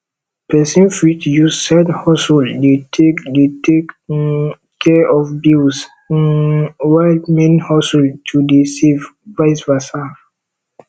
persin fit use side hustle de take de take um care of bills um while main hustle to de save vice versa